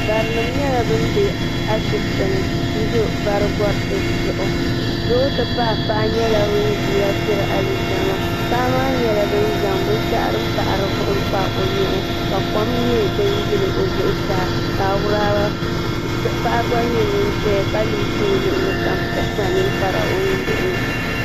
Barinim nyɛla ban be ashibiti ni. n do bari gariti zuɣu. doo ti pahi paɣa nyɛla ŋun ʒiya n diri alizama. paɣa maa nyɛla ŋun zaŋ binshɛɣu din pahiri vuhim n kpa ɔ nyee. ka ko m nyɛ din yili ɔ zuɣu saa ka awuraba paɣa gba ʒɛya ka limsi ɔ luɣili kam ka kpa ninkpara.